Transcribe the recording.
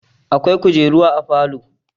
Akwai kujeru a falo.